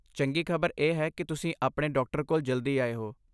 ਚੰਗੀ ਖ਼ਬਰ ਇਹ ਹੈ ਕਿ ਤੁਸੀਂ ਆਪਣੇ ਡਾਕਟਰ ਕੋਲ ਜਲਦੀ ਆਏ ਹੋ।